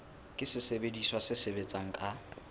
ke sesebediswa se sebetsang ka